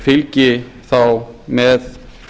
fylgi þá með